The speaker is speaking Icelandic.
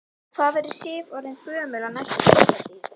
Hvað verður Sif orðin gömul á næstu Þjóðhátíð?